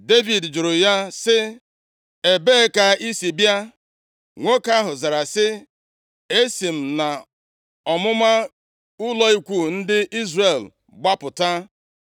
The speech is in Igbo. Devid jụrụ ya sị, “Ebee ka i si bịa?” Nwoke ahụ zara sị, “Esi m nʼọmụma ụlọ ikwu ndị Izrel gbapụta.”